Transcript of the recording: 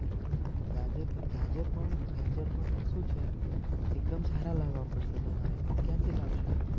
ગાજર ગાજર પણ ગાજર પણ શું છે એકદમ સારા લાવવા પડશે તમારે ક્યાંથી લાવશો.